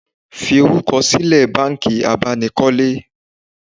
Fi orúkọ sílẹ̀ banki abánikọ́lé